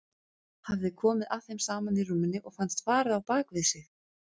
Hafði komið að þeim saman í rúminu og fannst farið á bak við sig.